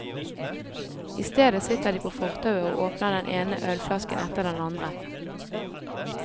I stedet sitter de på fortauet og åpner den ene ølflasken etter den andre.